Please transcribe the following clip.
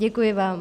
Děkuji vám.